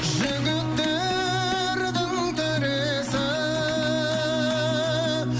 жігіттердің төресі